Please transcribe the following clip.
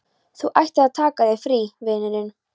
Þú ættir að taka þér frí, vinurinn.